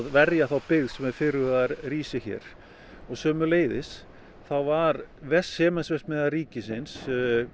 verja þá byggð sem er fyrirhugað að rísi hér sömuleiðis þá var var Sementsverksmiðja ríkisins